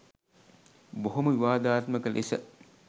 බොහොම විවාදාත්මක ලෙස